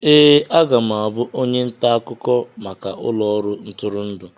Ee, aga m abụ onye nta akụkọ maka ụlọ ọrụ ntụrụndụ.